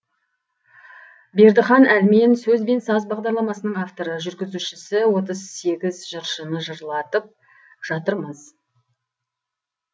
бердіхан әлмен сөз бен саз бағдарламасының авторы жүргізушісі отыз сегіз жыршыны жырлатып жатырмыз